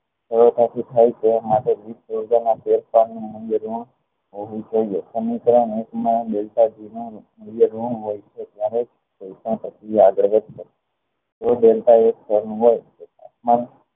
કયા ધાતુ થાય છે ફેરફાર હોવું જોઈએ સમીકરણ એક માં નું મુલ્ય ગણું હોય છે જયારે